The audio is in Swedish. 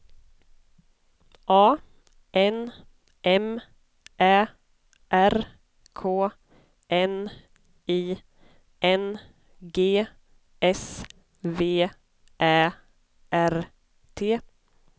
A N M Ä R K N I N G S V Ä R T